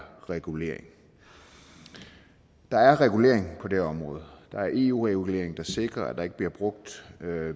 regulering der er regulering på det her område der er eu regulering der sikrer at der ikke bliver brugt